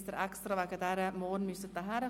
Sie brauchen morgen nicht extra anzureisen.